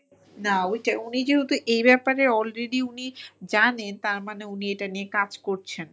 না ওইটাই উনি যেহেতু এই ব্যাপারে already উনি জানেন তার মানে উনি এটা নিয়ে কাজ করছেন।